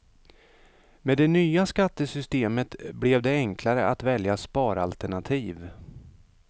Med det nya skattesystemet blev det enklare att välja sparalternativ.